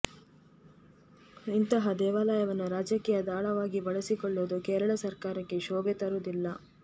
ಇಂತಹ ದೇವಾಲಯವನ್ನು ರಾಜಕೀಯ ದಾಳವಾಗಿ ಬಳಸಿಕೊಳ್ಳುವುದು ಕೇರಳ ಸರ್ಕಾರಕ್ಕೆ ಶೋಭೆ ತರುವುದಿಲ್ಲ